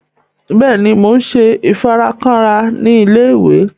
Bẹẹni, Mo n ṣe ifarakanra ni ilé-ìwé